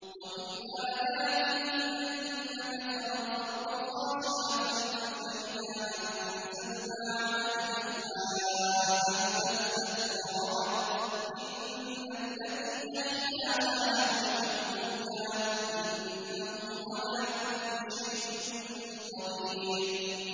وَمِنْ آيَاتِهِ أَنَّكَ تَرَى الْأَرْضَ خَاشِعَةً فَإِذَا أَنزَلْنَا عَلَيْهَا الْمَاءَ اهْتَزَّتْ وَرَبَتْ ۚ إِنَّ الَّذِي أَحْيَاهَا لَمُحْيِي الْمَوْتَىٰ ۚ إِنَّهُ عَلَىٰ كُلِّ شَيْءٍ قَدِيرٌ